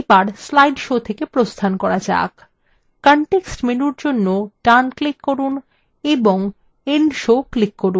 এবার slide show থেকে প্রস্থান করা যাক context menu জন্য ডান click করুন এবং end show click করুন